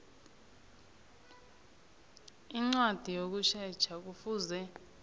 incwadi yokusetjha kufuze